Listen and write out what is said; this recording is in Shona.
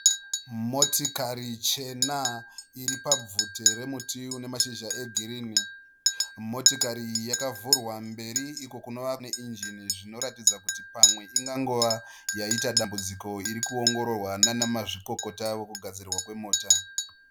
Motikari chena iripabvute remuti une mashizha egirinhi. Motikari iyi yakavhurwa mberi iko kunova neinjini zvinoratidza kuti pamwe ingangova yaita dambudziko irikuongororwa naana mazvikokota vekugadzirwa kwemota.